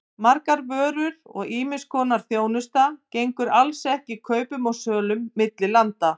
Margar vörur og ýmiss konar þjónusta gengur alls ekki kaupum og sölu milli landa.